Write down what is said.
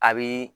A bi